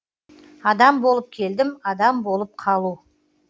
адам болып келдім адам болып қалу